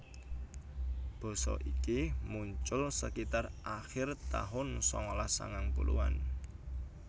Basa iki muncul sekitar akhir tahun sangalas sangang puluhan